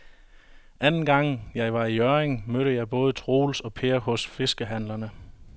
Anden gang jeg var i Hjørring, mødte jeg både Troels og Per hos fiskehandlerne.